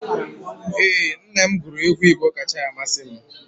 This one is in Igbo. Ee, nna m guru egwu Igbo kacha amasị m